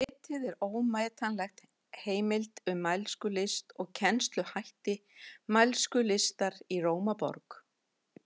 Ritið er ómetanleg heimild um mælskulist og kennsluhætti mælskulistar í Rómaborg.